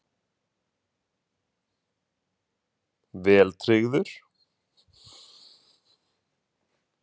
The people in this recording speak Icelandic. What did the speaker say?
Þóra: Vel tryggður?